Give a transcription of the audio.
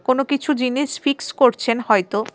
কোন কিছু জিনিস ফিক্স করছেন হয়তো.